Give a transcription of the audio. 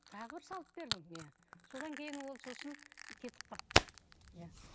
тағы бір салып бердім иә содан кейін ол сосын кетіп қалды иә